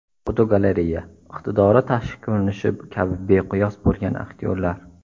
Fotogalereya: Iqtidori tashqi ko‘rinishi kabi beqiyos bo‘lgan aktyorlar.